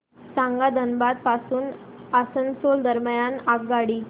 सांगा धनबाद पासून आसनसोल दरम्यान आगगाडी